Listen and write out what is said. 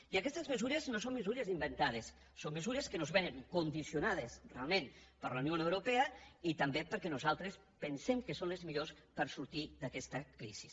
i aquestes mesures no són mesures inventades són mesures que ens vénen condicionades realment per la unió europea i també perquè nosaltres pensem que són les millors per sortir d’aquesta crisi